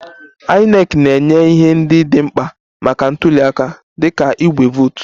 INEC na-enye ihe ndị dị mkpa maka ntuliaka dịka igbe vootu